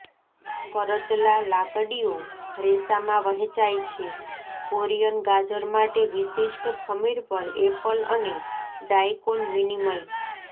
કરચલા લાકડીઓ રેસામાં વહેંચાય છે કોરિયન ગાજર માટે વિશિષ્ટ ખમીર પર એપલ અને ડાઇકોન વિનિમય